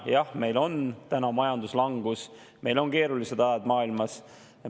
Jah, meil on täna majanduslangus, meil on keeruline aeg maailmas.